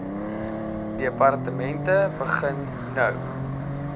departemente begin nou